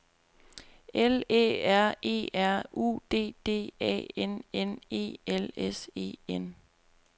L Æ R E R U D D A N N E L S E N